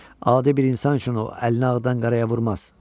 Adi bir insan üçün o əlini ağdan qaraya vurmaz.